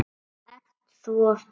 Þú ert svo stór.